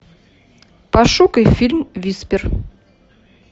пошукай фильм виспер